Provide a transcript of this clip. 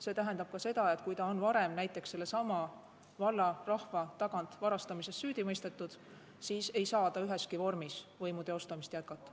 See tähendab ka seda, et kui ta on varem näiteks sellesama valla rahva tagant varastamises süüdi mõistetud, siis ei saa ta üheski vormis võimu teostamist jätkata.